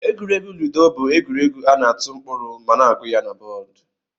Egwuregwu lụdo bu egwuregwu ana atụ mkpụrụ ma na agu ya na bọd.